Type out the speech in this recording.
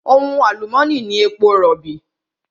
Ohun àlùmónì ni èpo rọ̀bì.